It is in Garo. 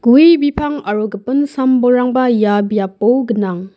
gue bipang aro gipin sam-bolrangba ia biapo gnang.